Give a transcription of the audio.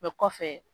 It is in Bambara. kɔfɛ